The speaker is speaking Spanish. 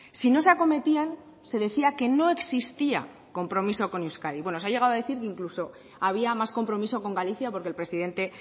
si no se acometían se decía que no existía compromiso con euskadi bueno se ha llegado a decir que incluso había más compromiso con galicia porque el presidente